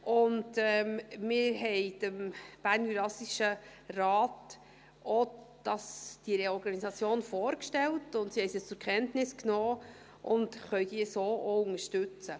Wir haben dem BJR diese Reorganisation auch vorgestellt, und sie haben sie zur Kenntnis genommen und können sie so auch unterstützen.